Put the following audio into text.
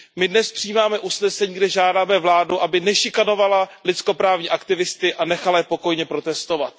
My dnes přijímáme usnesení, kde žádáme vládu, aby nešikanovala lidskoprávní aktivisty a nechala je pokojně protestovat.